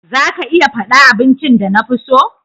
Za ka iya fada abincin da na fi so?